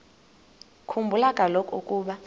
khumbula kaloku ukuba